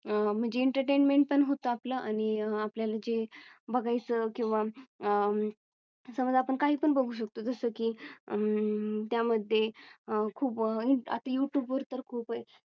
अं म्हणजे Entertainment पण होत आपलं आणि आपल्या ला जे बघायचं किंवा अह समजा आपण काही पण बघू शकतो. जसं की अं त्यामध्ये आह खूप आता यूट्यूब वर तर खूप आहे.